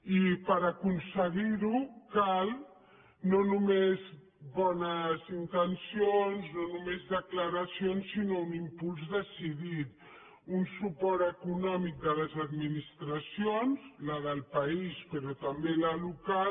i per aconseguir ho cal no només bones intencions no només declaracions sinó un impuls decidit un suport econòmic de les administracions la del país però també la local